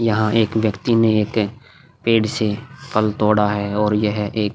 यहाँ एक व्यक्ति ने एक पेड़ से फल तोड़ा है और यह एक--